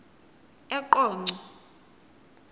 eqonco